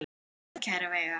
Góða ferð, kæra Veiga.